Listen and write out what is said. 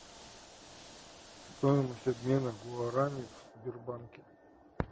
стоимость обмена гуарани в сбербанке